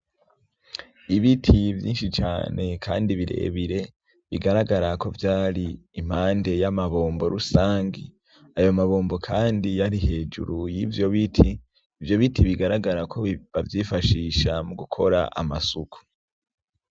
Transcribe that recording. Ibiti vyinshi cane, kandi birebire bigaragara ko vyari impande y'amabombo rusange ayo mabombo, kandi yari hejuru y'ivyo biti ivyo biti bigaragara ko bavyifashisha mu gukora amasuku.